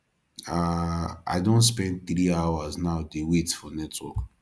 um i don spend three hours now dey wait for network